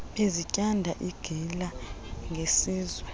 bezityanda igila ngesizwe